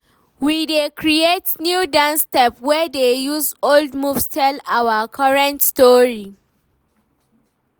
We dey create new dance steps wey dey use old moves tell our current story.